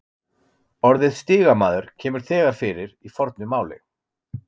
Orðið stigamaður kemur þegar fyrir í fornu máli.